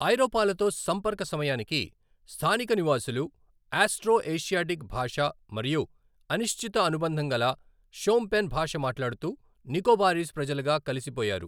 ఐరోపాలతో సంపర్క సమయానికి, స్థానిక నివాసులు ఆస్ట్రో ఏషియాటిక్ భాష మరియు అనిశ్చిత అనుబంధంగల షోమ్పెన్ భాష మాట్లాడుతూ నికోబారీస్ ప్రజలగా కలిసిపోయారు.